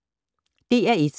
DR1